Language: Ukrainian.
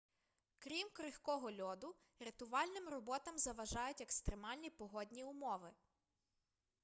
крім крихкого льоду рятувальним роботам заважають екстремальні погодні умови